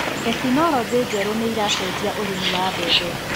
Tekinologĩ njerũ nĩiracenjia ũrĩmi wa mbembe.